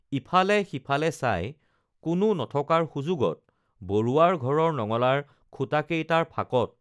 ইফালে সিফালে চাই কোনো নথকাৰ সুযোগত বৰুৱাৰ ঘৰৰ নঙলাৰ খুঁটাকেইটাৰ ফাঁকত